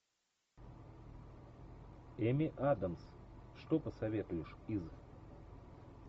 эми адамс что посоветуешь из